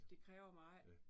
Det kræver meget